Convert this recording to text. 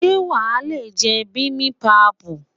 Ṣé wàá lè jẹ bimibapu?